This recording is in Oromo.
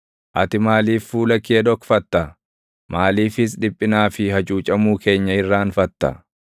Ati maaliif fuula kee dhokfatta? Maaliifis dhiphinaa fi hacuucamuu keenya irraanfatta?